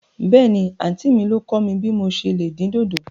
Bẹ́ẹ̀ni, àntí mi ló kọ̀ mí bí mò se lè dín dòdò.